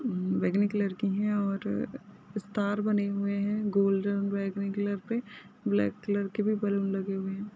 हम्म बैंगनी कलर की है। और स्टार बने हुए है। गोल्ड बैंगनी कलर पे ब्लॅक कलर के भी बलून लगे हुए है।